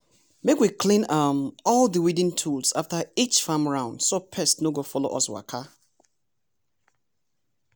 make we clean um all di weeding tools after each farm round so pest no go follow us waka